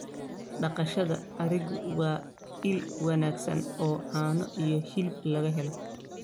Dhaqashada arigu waa il wanaagsan oo caano iyo hilib laga helo.